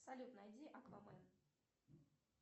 салют найди аквамен